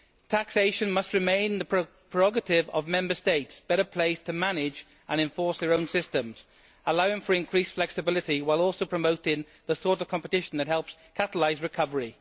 Taxation must remain the prerogative of Member States better placed to manage and enforce their own systems, allowing for increased flexibility while also promoting the sort of competition that helps catalyse recovery.